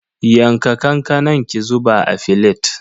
Yanka kankanan ki zuba a filet.